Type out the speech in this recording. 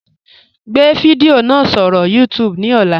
Gbẹ̀ fidiò náà sọ̀rọ̀ YouTube ní ọ̀là.